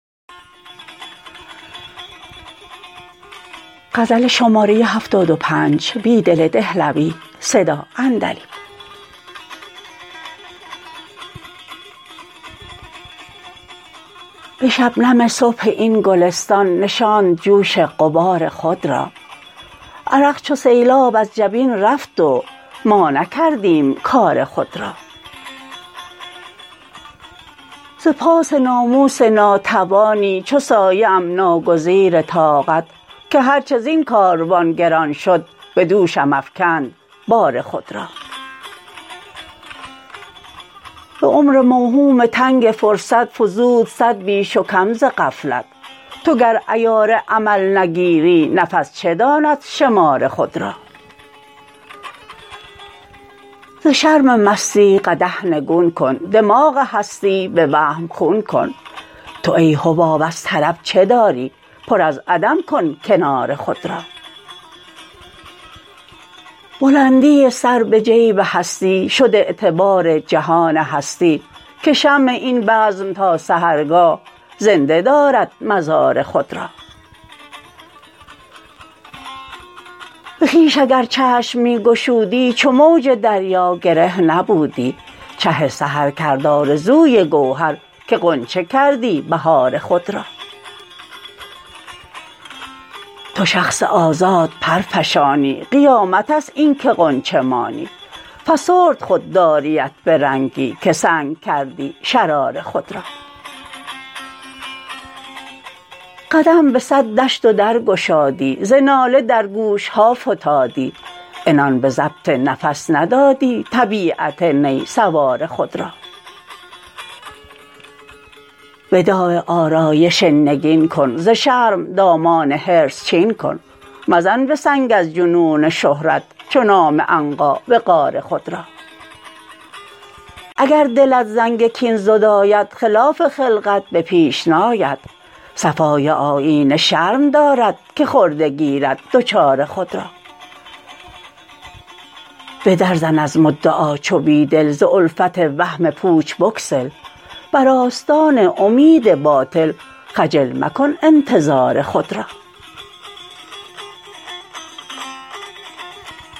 به شبنم صبح این گلستان نشاند جوش غبار خود را عرق چو سیلاب از جبین رفت و ما نکردیم کار خود را ز پاس ناموس ناتوانی چو سایه ام ناگزیر طاقت که هرچه زین کاروان گران شد به دوشم افکند بار خود را به عمر موهوم تنگ فرصت فزود صد بیش و کم ز غفلت تو گر عیار عمل نگیری نفس چه داند شمار خود را ز شرم مستی قدح نگون کن دماغ هستی به وهم خون کن تو ای حباب از طرب چه داری پر از عدم کن کنار خود را بلندی سر به جیب هستی شد اعتبار جهان هستی که شمع این بزم تا سحرگاه زنده دارد مزار خود را به خویش اگر چشم می گشودی چو موج دریا گره نبودی چه سحرکرد آرزوی گوهر که غنچه کردی بهار خود را تو شخص آزاد پرفشانی قیامت است این که غنچه مانی فسرد خودداریت به رنگی که سنگ کردی شرار خود را قدم به صد دشت و در گشادی ز ناله در گوشها فتادی عنان به ضبط نفس ندادی طبیعت نی سوار خود را وداع آرایش نگین کن ز شرم دامان حرص چین کن مزن به سنگ از جنون شهرت چو نام عنقا وقار خود را اگر دلت زنگ کین زداید خلاف خلقت به پیش ناید صفای آیینه شرم دارد که خرده گیرد دچار خود را به در زن از مدعا چو بیدل ز الفت وهم پوچ بگسل بر آستان امید باطل خجل مکن انتظار خود را